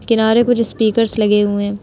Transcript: किनारे कुछ स्पीकर्स लगे हुए हैं।